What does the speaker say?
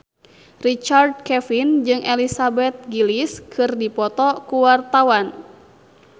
Richard Kevin jeung Elizabeth Gillies keur dipoto ku wartawan